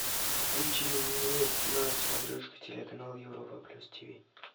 включи мне на смотрешке телеканал европа плюс тиви